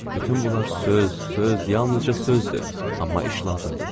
Bütün bunlar söz, söz, yalnızca sözdür, amma iş lazımdır.